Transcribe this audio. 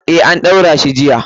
Eh, an ɗaura shi jiya.